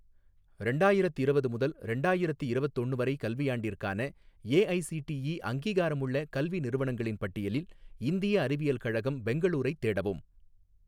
ரெண்டாயிரத்திரவது முதல் ரெண்டாயிரத்தி இரவத்தொன்னு வரை கல்வியாண்டிற்கான ஏஐசிடிஇ அங்கீகாரமுள்ள கல்வி நிறுவனங்களின் பட்டியலில் இந்திய அறிவியல் கழகம் பெங்களூரைத் தேடவும்